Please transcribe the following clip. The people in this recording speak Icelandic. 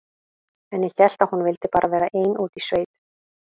En ég hélt að hún vildi bara vera ein úti í sveit.